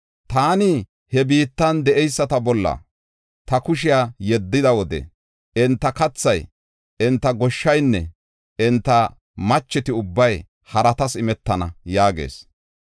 Taani he biittan de7eyisata bolla ta kushiya yeddiya wode enta keethay, enta goshshaynne enta macheti ubbay haratas imetana” yaagees.